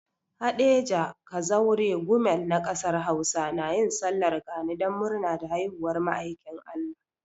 Haɗeja, Kazaure, Gumel na kasar Hausa na yin sallar gani don murna da haihuwar ma'aikin Allah.